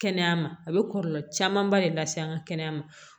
Kɛnɛya ma a bɛ kɔlɔlɔ camanba de lase an ka kɛnɛya ma